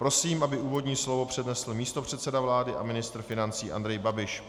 Prosím, aby úvodní slovo přednesl místopředseda vlády a ministr financí Andrej Babiš.